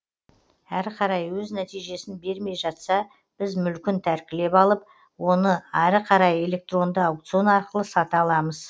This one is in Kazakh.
әрі қарай өз нәтижесін бермей жатса біз мүлкін тәркілеп алып оны әрі қарай электронды аукцион арқылы сата аламыз